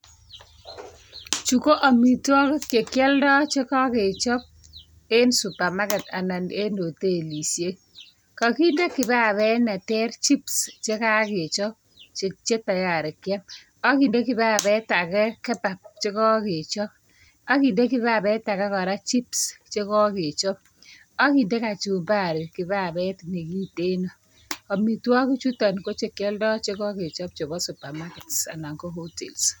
Chu ko amitwagik chekyoldo chekakechop en supermarket anan en hotelishek kakinde kibabet netrchips chekakechop Che tayari Kiam akinde kibabet age kebab chekakechop akende kibabet age chips chekakechop akende kachumbari babet nekiteno amitwagik chuton ko kialdo chekakechop Koba supermarket anan ko hotels